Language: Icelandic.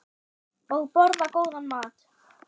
Og borða góðan mat.